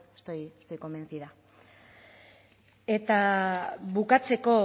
estoy convencida eta bukatzeko